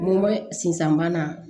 N ko sisan bana